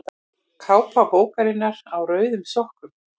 Kápa bókarinnar Á rauðum sokkum.